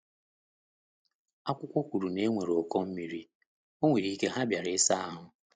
Akụkọ kwuru na enwere ụkọ mmiri, onwere ike ha bịara isa ahu